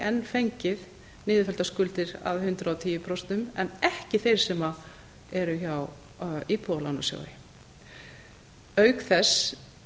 en fengið niðurfelldar skuldir að hundrað og tíu prósent en ekki þeir sem eru hjá íbúðalánasjóði auk þess